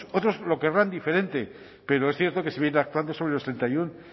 otros lo querrán diferente pero es cierto que se viene actuando sobre los treinta y uno